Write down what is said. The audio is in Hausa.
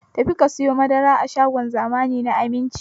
Ta fi ka sayo madara a shagon zamani na Aminci!